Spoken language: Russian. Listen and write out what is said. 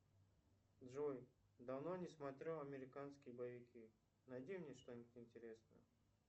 джой давно не смотрел американские боевики найди мне что нибудь интересное